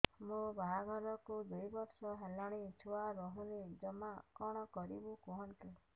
ମୋ ବାହାଘରକୁ ଦୁଇ ବର୍ଷ ହେଲାଣି ଛୁଆ ରହୁନି ଜମା କଣ କରିବୁ କୁହନ୍ତୁ